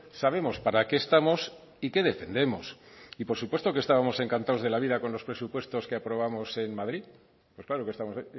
sabemos para qué estamos y qué defendemos y por supuesto que estábamos encantados de la vida con los presupuestos que aprobamos en madrid pues claro que estamos